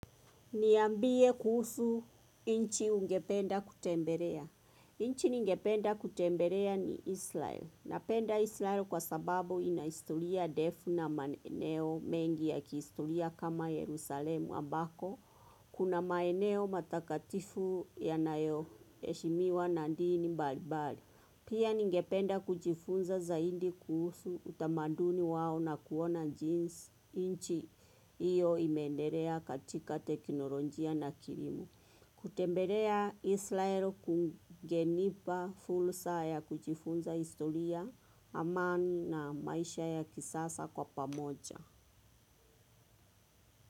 Niambie kuhusu nchi ungependa kutembelea. Nchi ningependa kutembelea ni Israel. Napenda Israel kwa sababu historia ndefu na maeneo mengi ya kihistoria kama Yerusalemu ambako. Kuna maeneo matakatifu yanayo heshimiwa na dini mbalimbali. Pia ningependa kuchifunza zaidi kuhusu utamaduni wao na kuona jinsi inchi iyo imeendelea katika teknolojia na kilimo. Kutembelea Israel kungenipa fursa ya kujifunza historia amani na maisha ya kisasa kwa pamoja.